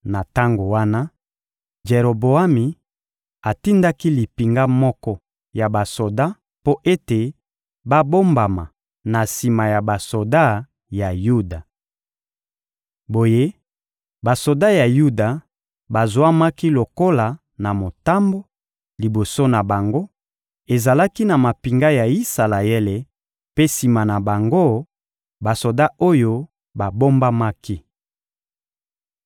Na tango wana, Jeroboami atindaki limpinga moko ya basoda mpo ete babombama na sima ya basoda ya Yuda. Boye, basoda ya Yuda bazwamaki lokola na motambo: liboso na bango, ezalaki na mampinga ya Isalaele; mpe sima na bango, basoda oyo babombamaki.